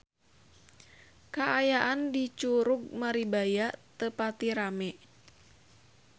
Kaayaan di Curug Maribaya teu pati rame